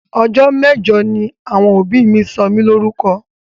Ọjọ́ mẹ́jọ ni àwọn òbí mi sọ mí Lórúkọ